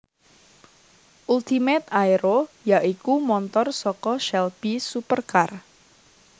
Ultimate Aero ya iku montor saka Shelby supercar